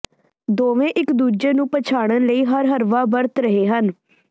ਦੋਵੇਂ ਇੱਕ ਦੂਜੇ ਨੂੰ ਪਛਾੜਨ ਲਈ ਹਰ ਹਰਬਾ ਵਰਤ ਰਹੇ ਹਨ